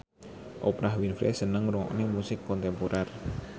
Oprah Winfrey seneng ngrungokne musik kontemporer